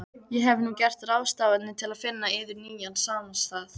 Ég hef nú gert ráðstafanir til finna yður nýjan samastað.